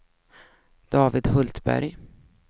David Hultberg